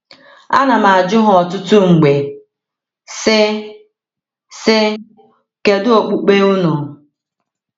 Ana m-ajụ ha ọtụtụ mgbe, sị: sị: “Kedu okpukpe unu?”